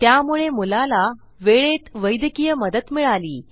त्यामुळे मुलाला वेळेत वैद्यकीय मदत मिळाली